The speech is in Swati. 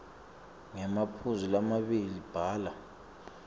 ngemaphuzu lamabili bhala